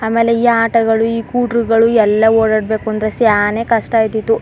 ಆಮೇಲೆ ಈ ಆಟೋಗಳು ಈ ಕೂಟ್ರುಗಳು ಎಲ್ಲಾ ಓಡಾಡ್ ಬೇಕು ಅಂದ್ರೆ ಸ್ಯಾನೆ ಕಷ್ಟ ಆಯ್ತಿತ್ತು.